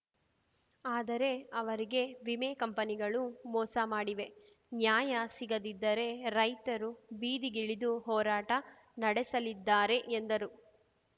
ಆದರೆ ಅವರಿಗೆ ವಿಮೆ ಕಂಪನಿಗಳು ಮೋಸ ಮಾಡಿವೆ ನ್ಯಾಯ ಸಿಗದಿದ್ದರೆ ರೈತರು ಬೀದಿಗಿಳಿದು ಹೋರಾಟ ನಡೆಸಲಿದ್ದಾರೆ ಎಂದರು